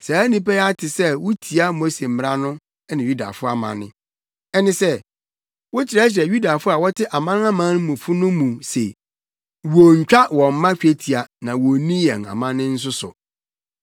Saa nnipa yi ate sɛ wutia Mose mmara no ne Yudafo amanne; ɛne sɛ, wokyerɛkyerɛ Yudafo a wɔte amanamanmufo no mu se wonntwa wɔn mma twetia na wonnni yɛn amanne nso so.